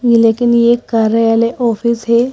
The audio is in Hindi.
ये लेकिन ये कार्यालय ऑफिस है।